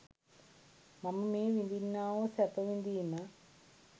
මම මේ විඳින්නා වූ සැප විඳීම